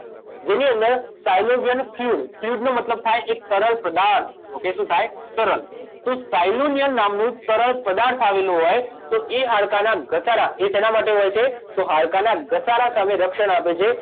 જેની અંદર સાયલોવિયન ફ્લુડ ફ્લુડ નો મતલબ થાય એક તરલ પદાર્થ શું થાય તરલ તો સાયલોવિયન નામનો તરલ પદાર્થ આવેલો હોય તો એ હાડકાંંના ઘસારા એ શેના માટે હોય છે તો હાડકાં ના ઘસારા સામે રક્ષણ આપે છે